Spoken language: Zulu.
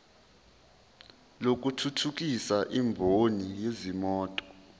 lokuthuthukisa imboni yezimoto